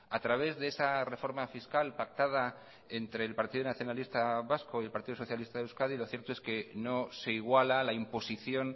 a través de esa reforma fiscal pactada entre el partido nacionalista vasco y el partido socialista de euskadi lo cierto es que no se iguala a la imposición